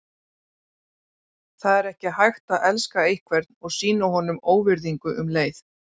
Það er ekki hægt að elska einhvern og sýna honum óvirðingu um leið.